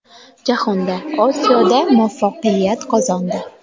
Jahonda, Osiyoda muvaffaqiyat qozondi.